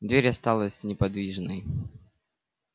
дверь осталась неподвижной